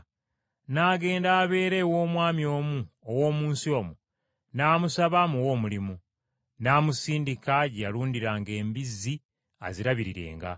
N’agenda abeere ew’omwami omu ow’omu nsi omwo n’amusaba amuwe omulimu, n’amusindika gye yalundiranga embizzi azirabirirenga.